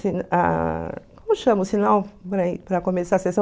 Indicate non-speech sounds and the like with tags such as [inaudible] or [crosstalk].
[unintelligible] Como chama o sinal para [unintelligible] para começar a sessão?